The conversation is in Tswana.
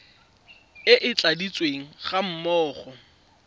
e e tladitsweng ga mmogo